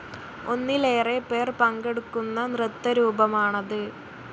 ഒന്നിലേറെ പേർ പങ്കെടുക്കുന്ന നൃത്തരൂപമാണത്‌.